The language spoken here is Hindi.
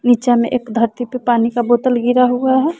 नीचा में एक धरती पे पानी का बोतल गिरा हुआ है।